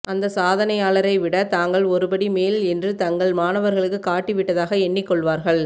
அந்த சாதனையாளரை விட தாங்கள் ஒருபடி மேல் என்று தங்கள் மாணவர்களுக்குக் காட்டிவிட்டதாக எண்ணிக்கொள்வார்கள்